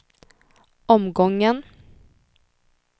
omgången